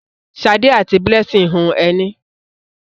Ṣadé àti Blessing hun ẹní.